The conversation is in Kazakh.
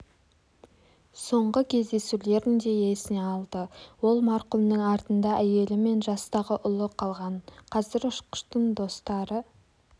соңғы кездесулерін де есіне алды ол марқұмның артында әйелі мен жастағы ұлы қалған қазір ұшқыштың достары